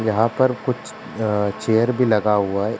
यहाँ पर कुछ अ चेयर भी लगा हुआ है।